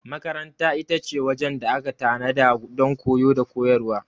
Makaranta ita ce wajen da aka tanada don koyo da koyarwa.